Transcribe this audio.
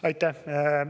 Aitäh!